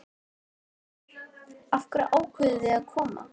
Þórhildur: Af hverju ákváðuð þið að koma?